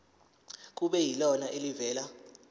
kube yilona elivela